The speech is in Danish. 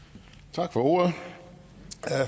tak